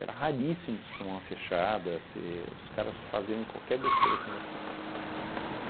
Era raríssimo você tomar uma fechada, você os caras fazerem qualquer besteira com você.